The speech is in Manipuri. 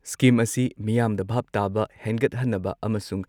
ꯁ꯭ꯀꯤꯝ ꯑꯁꯤ ꯃꯤꯌꯥꯝꯗ ꯚꯥꯕ ꯇꯥꯕ ꯍꯦꯟꯒꯠꯍꯟꯅꯕ ꯑꯃꯁꯨꯡ